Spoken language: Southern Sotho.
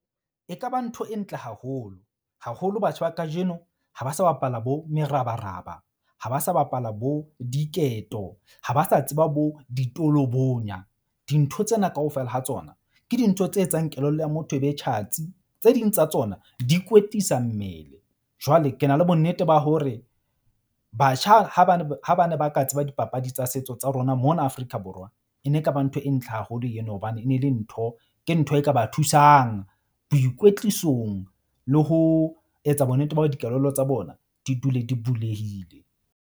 E ka ba ntho e ntle haholo. Haholo batjha ba kajeno ha ba sa bapala bo merabaraba, ha ba sa bapala bo diketo ha ba sa tseba bo ditolobonya. Dintho tsena kaofela ha tsona ke dintho tse etsang kelello ya motho e be tjhatsi. Tse ding tsa tsona di kwetlisa mmele. Jwale ke na le bonnete ba hore batjha ha ba ne ba ka tseba dipapadi tsa setso tsa rona mona Afrika Borwa. E ne e ka ba ntho e ntle haholo eno hobane e ne le ntho, ke ntho e ka ba thusang boikwetlisong le ho etsa bonnete ba hore dikelello tsa bona di dule di bulehile.